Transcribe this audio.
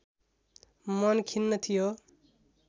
मन खिन्न थियो